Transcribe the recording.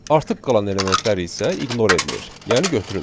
Artıq qalan elementlər isə ignore edilir, yəni götürülmür.